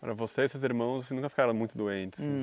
Para você e seus irmãos, vocês nunca ficaram muito doentes?